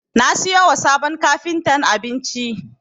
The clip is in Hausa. Na siyo wa sabon kafintan abinci.